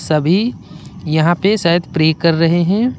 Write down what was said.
सभी यहां पे सायद प्रे कर रहे हैं।